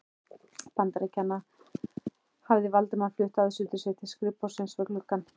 Bandaríkjanna, hafði Valdimar flutt aðsetur sitt til skrifborðsins við gluggann.